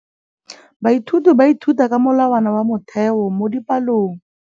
Baithuti ba ithuta ka molawana wa motheo mo dipalong.